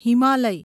Himalaya